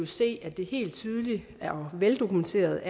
se er det helt tydeligt og veldokumenteret